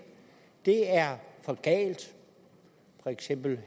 det er for galt for eksempel